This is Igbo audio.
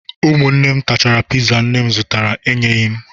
Ụmụnne m tachara piza nne m zụtara enyeghị m